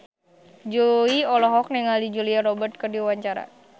Jui olohok ningali Julia Robert keur diwawancara